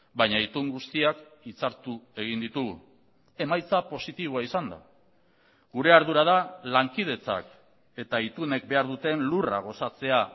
baina itun guztiak hitzartu egin ditugu emaitza positiboa izan da gure ardura da lankidetzak eta itunek behar duten lurra gozatzea